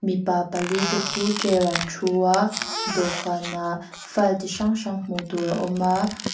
mipa pali te chu chair ah an thu a dawhkan ah file chi hrang hrang hmuh tur a awm a.